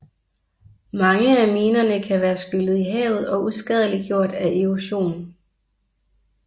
Mange af minerne kan være skyllet i havet og uskadeliggjort af erosion